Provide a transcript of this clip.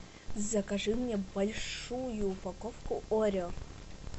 закажи мне большую упаковку орео